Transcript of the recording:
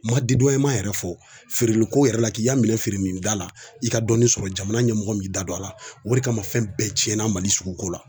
Ma yɛrɛ fɔ feereliko yɛrɛ la k'i ka minɛn feere nin da la i ka dɔɔnin sɔrɔ jamana ɲɛmɔgɔ b'i da don a la o de kama fɛn bɛɛ tiɲɛna Mali suguko la